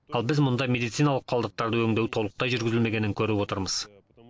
ал біз мұнда медициналық қалдықтарды өңдеу толықтай жүргізілмегенін көріп отырмыз